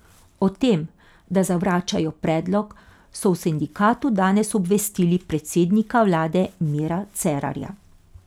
O tem, da zavračajo predlog, so v sindikatu danes obvestili predsednika vlade Mira Cerarja.